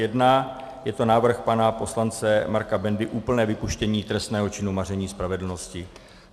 Je to návrh pana poslance Marka Bendy, úplné vypuštění trestného činu maření spravedlnosti.